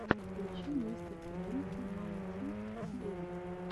включи мистер брент найнти эйт